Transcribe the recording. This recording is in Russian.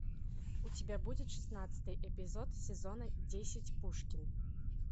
у тебя будет шестнадцатый эпизод сезона десять пушкин